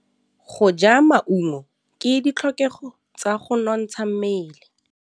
Go ja maungo ke ditlhokegô tsa go nontsha mmele.